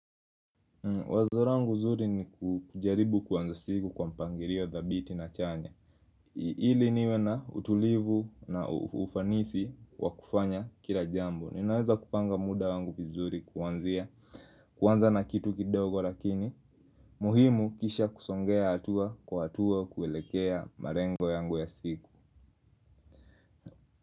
Wazo langu nzuri ni kujaribu kuanza siku kwa mpangilio ya dhabithi na chanya ili niwe na utulivu na ufanisi wa kufanya kila jambo Ninaweza kupanga muda wangu kizuri kuwanza na kitu kidogo lakini muhimu kisha kusongea atua kwa atua kuelekea malengo yangu ya siku.